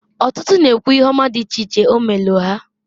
Otutu ndi na-ekwu ihe oma di iche iche o meelu ha.